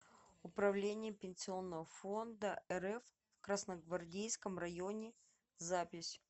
управление пенсионного фонда рф в красногвардейском районе запись